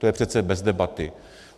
To je přece bez debaty.